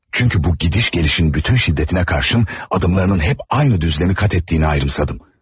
Çünki bu gediş-gəlişin bütün şiddətinə baxmayaraq, addımlarının həmişə eyni müstəvidə olduğunu hiss edirdim.